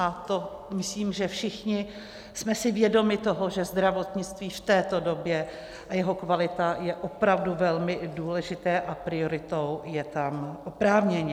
A to myslím, že všichni jsme si vědomi toho, že zdravotnictví v této době, a jeho kvalita, je opravdu velmi důležité a prioritou je tam oprávněně.